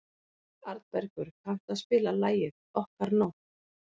Arnbergur, kanntu að spila lagið „Okkar nótt“?